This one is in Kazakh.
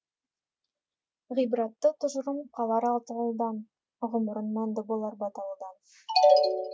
ғибратты тұжырым қалар аталыдан ғұмырың мәнді болар баталыдан